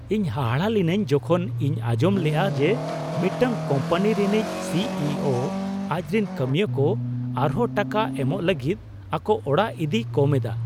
ᱤᱧ ᱦᱟᱦᱟᱲᱟ ᱞᱤᱱᱟᱹᱧ ᱡᱚᱠᱷᱚᱱ ᱤᱧ ᱟᱸᱡᱚᱢ ᱞᱮᱜᱼᱟ ᱡᱮ ᱢᱤᱫᱴᱟᱝ ᱠᱳᱢᱯᱟᱱᱤ ᱨᱤᱱᱤᱡ ᱥᱤ ᱤ ᱳ ᱟᱡᱨᱤᱱ ᱠᱟᱹᱢᱣᱟᱹᱠᱚ ᱟᱨᱦᱚᱸ ᱴᱟᱠᱟ ᱮᱢᱚᱜ ᱞᱟᱹᱜᱤᱫ ᱟᱠᱚ ᱚᱲᱟᱜ ᱤᱫᱤᱭ ᱠᱚᱢ ᱮᱫᱟ ᱾